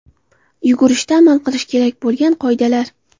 Yugurishda amal qilish kerak bo‘lgan qoidalar.